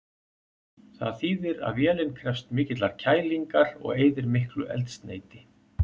Það þýðir að vélin krefst mikillar kælingar og eyðir miklu eldsneyti.